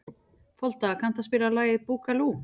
Folda, kanntu að spila lagið „Búkalú“?